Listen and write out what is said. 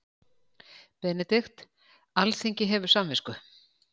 BENEDIKT: Alþingi hefur samvisku.